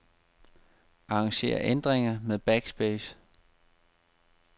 Arranger ændringer med backspace.